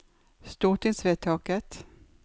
stortingsvedtaket